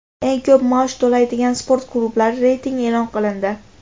Eng ko‘p maosh to‘laydigan sport klublari reytingi e’lon qilindi.